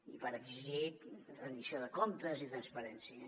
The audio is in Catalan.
i per exigir la rendició de comptes i transparència